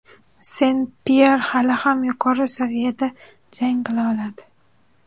Sen-Pyer hali ham yuqori saviyada jang qila oladi.